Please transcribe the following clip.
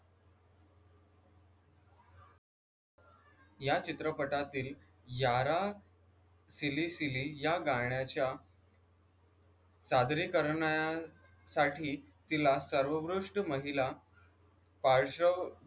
या चित्रपटातील यारा सिली सिली या गाण्याच्या सादरीकरनासाठी तिला सर्वोत्कृष्ट महिला पाल शो